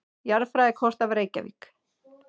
Jarðfræðikort af Reykjavík.